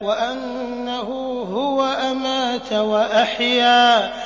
وَأَنَّهُ هُوَ أَمَاتَ وَأَحْيَا